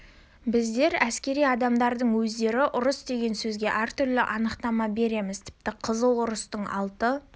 біздер әскери адамдардың өздері ұрыс деген сөзге әртүрлі анықтама береміз тіпті қызыл ұрыстың алты